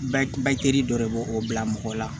Bakiri dɔ de b'o o bila mɔgɔ la